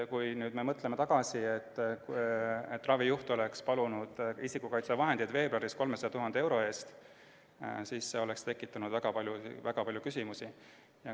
Kui vaatame tagasi ja mõtleme, et ravijuht oleks palunud veebruaris isikukaitsevahendeid 300 000 euro eest, siis oleks see tekitanud väga palju küsimusi.